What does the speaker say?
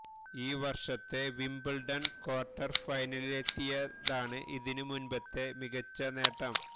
ഈ വര്ഷത്തെ Wimbledon quarter ഫൈനലിലെത്തിയതാണ് ഇതിനു മുന്പത്തെ മികച്ചനേട്ടം